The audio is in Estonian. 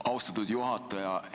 Austatud juhataja!